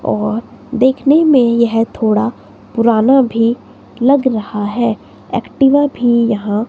और देखने में यह थोड़ा पुराना भी लग रहा है एक्टिवा भी यहां--